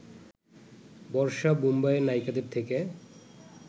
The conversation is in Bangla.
বর্ষা মুম্বাইয়ের নায়িকাদের থেকে